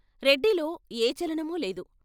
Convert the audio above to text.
రెడ్డిలో ఏ చలనమూలేదు.